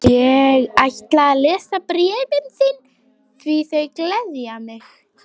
Ég ætla að lesa bréfin þín því þau gleðja mig.